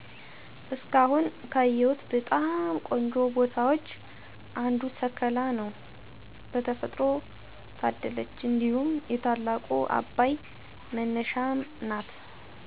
እስካሁን ካየሁት በጣም ቆንጆ ቦታዎች አንዱ ሰከላ ነው በተፈጥሮ ታደለች እንዲሁም የታላቁ አባይ መነሻም ናት።